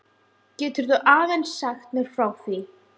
Geturðu aðeins sagt mér frá því?